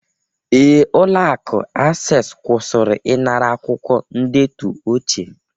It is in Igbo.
Ee, ụlọ akụ Acesi kwụsịrị ịnara akwụkwọ ndetu ochie